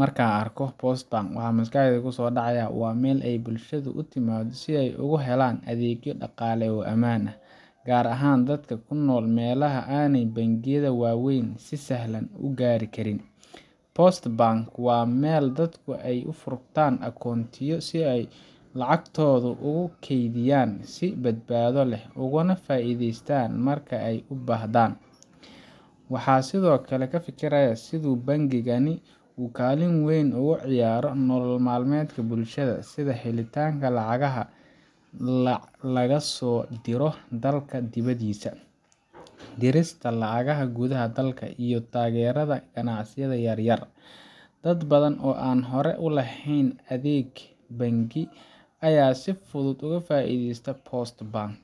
Marka aan arko Post Bank, waxa maskaxdayda ku soo dhacaya waa meel ay bulshada u timaaddo si ay ugu helaan adeegyo dhaqaale oo ammaan ah, gaar ahaan dadka ku nool meelaha aanay bangiyada waaweyni si sahlan u gaari karin. Post Bank waa meel dadku ka furtaan akoontooyin si ay lacagtooda ugu kaydiyaan si badbaado leh, ugana faa’iideystaan marka ay u baahdaan. Waxaan sidoo kale ka fikirayaa sida uu bangigani ugaalin weyn uga ciyaaro nolol maalmeedka bulshada sida helitaanka lacagaha laga soo diro dalka dibaddiisa, dirista lacagaha gudaha dalka, iyo taageerada ganacsiyada yar-yar. Dad badan oo aan hore u lahayn adeeg bangi ayaa si fudud uga faa’iideysta Post Bank